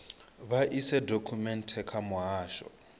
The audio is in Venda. vha ise dokhumenthe kha muhasho